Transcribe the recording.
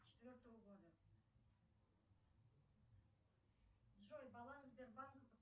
четвертого года джой баланс сбербанка